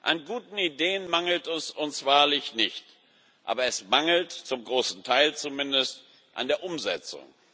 An guten Ideen mangelt es uns wahrlich nicht, aber es mangelt zum großen Teil zumindest an der Umsetzung.